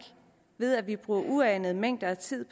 ved at vi bruger uanede mængder af tid